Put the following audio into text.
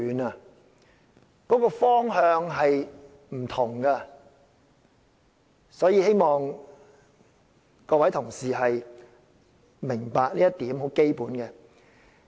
兩者的方向是不同的，希望各位同事明白這很基本的一點。